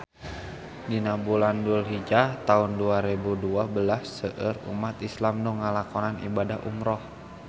Dina bulan Dulhijah taun dua rebu dua belas seueur umat islam nu ngalakonan ibadah umrah